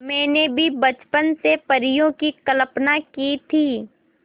मैंने भी बचपन से परियों की कल्पना की थी